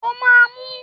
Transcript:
O máa mú!